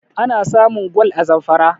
ana samun gwal a zamfara